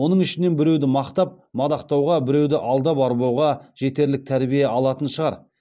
оның ішінен біреуді мақтап мадақтауға біреуді алдап арбауға жетерлік тәрбие алатын шығар